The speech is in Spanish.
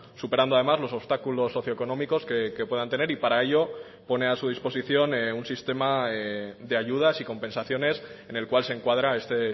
superando además los obstáculos socioeconómicos que puedan tener y para ello pone a su disposición un sistema de ayudas y compensaciones en el cual se encuadra este